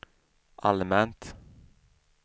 allmänt